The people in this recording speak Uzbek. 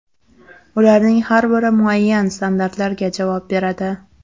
Ularning har biri muayyan standartlarga javob beradi.